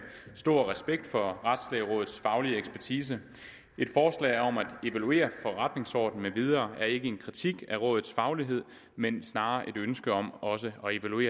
stor respekt for retslægerådets faglige ekspertise et forslag om at evaluere forretningsorden med videre er ikke en kritik af rådets faglighed men snarere et ønske om også